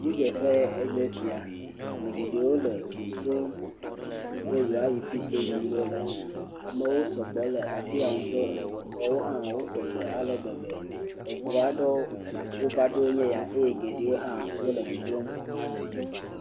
Ŋudzeƒe enye esia. Ame geɖe wole ŋu ɖom be yewoayi fi ke yim wole. Amewo sɔgbɔ le afia ŋutɔ. Xɔwo hã wosɔgbɔ ale gbegbe. Ŋu aɖewo va ɖo enye ya eye geɖewo hã wole dzodzom.